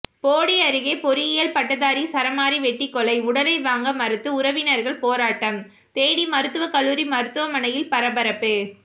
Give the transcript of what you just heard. போடி அருகே பொறியியல் பட்டதாரி சரமாரி வெட்டிக்கொலை உடலை வாங்க மறுத்து உறவினர்கள் போராட்டம் தேனி மருத்துவக்கல்லூரி மருத்துவமனையில் பரபரப்பு